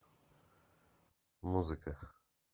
музыка